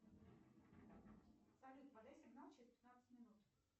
салют подай сигнал через пятнадцать минут